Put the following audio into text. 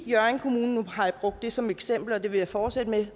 hjørring kommune som eksempel og det vil jeg fortsætte med